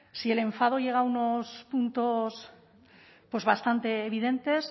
si el enfado llega a unos puntos pues bastante evidentes